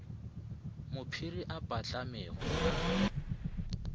mo phiri e patlamego a